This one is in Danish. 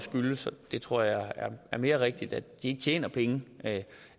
skyldes og det tror jeg er mere rigtigt at de ikke tjener penge